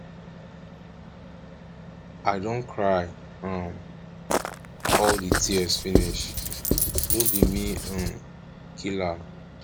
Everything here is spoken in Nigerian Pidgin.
i don cry um all the tears finish no be me um kill am